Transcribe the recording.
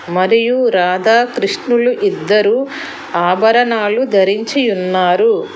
మరియు రాధాకృష్ణులు ఇద్దరు ఆభరణాలు ధరించియున్నారు.